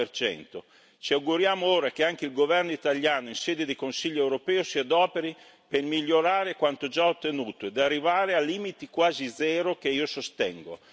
40 Ci auguriamo ora che anche il governo italiano in sede di Consiglio europeo si adoperi per migliorare quanto già ottenuto e arrivare a limiti quasi zero che io sostengo.